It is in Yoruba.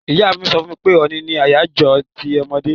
Ìyá mi so fún mi pe òní ni àyájó ti àwon ọmọdé